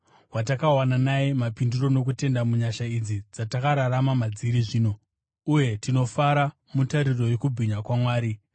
watakawana naye mapindiro, nokutenda, munyasha idzi dzatakamira madziri zvino. Uye tinofara mutariro yokubwinya kwaMwari.